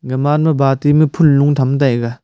gaman ma buty phunlo tham taiga .